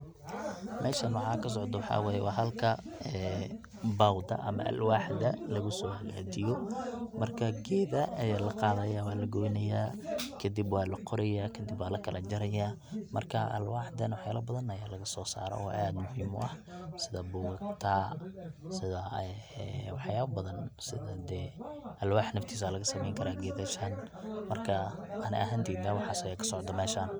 Meshan waxa kasocdo waxay weye waa halka bawda ama alwaxda luguso hagjiyo marka geeda aya la qadaya waa lagoyna kadib waa la qoraya kadib waa lakala jarjaraya, marka alwaxdan wax yala badan aya lagasoo saara oo aad muhim u ah sida bugagta sida waxyaba badan sida dee alwax naftiis aya lagasameeyni karaa geedasahan marka ani ahanteyda waxaas aya kasocda meshan.